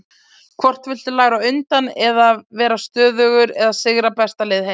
Hvort viltu læra á undan, að vera stöðugir eða sigra bestu lið heims?